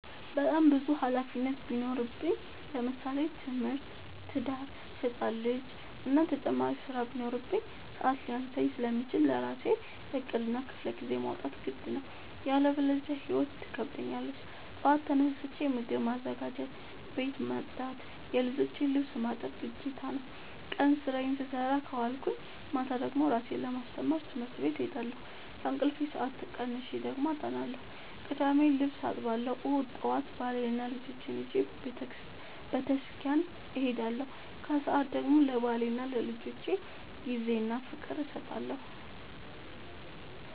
በጣም ብዙ ሀላፊነት ቢኖርብኝ ለምሳሌ፦ ትምህርት፣ ትዳር፣ ህፃን ልጂ እና ተጨማሪ ስራ ቢኖርብኝ። ሰዐት ሊያንሰኝ ስለሚችል ለራሴ ዕቅድ እና ክፍለጊዜ ማውጣት ግድ ነው። ያለበዚያ ህይወት ትከብደኛለች ጠዋት ተነስቼ ምግብ ማዘጋጀት፣ ቤት መፅዳት የልጆቼን ልብስ ማጠብ ግዴታ ነው። ቀን ስራዬን ስሰራ ከዋልኩኝ ማታ ደግሞ እራሴን ለማስተማር ትምህርት ቤት እሄዳለሁ። ከእንቅልፌ ሰአት ቀንሼ ደግሞ አጠናለሁ ቅዳሜ ልብስ አጥባለሁ እሁድ ጠዋት ባሌንና ልጆቼን ይዤ በተስኪያን እሄዳለሁ። ከሰዓት ደግሞ ለባሌና ለልጆቼ ጊዜ እና ፍቅር እሰጣለሁ።